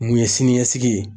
Mun ye siniɲɛsigi ye